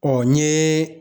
n ye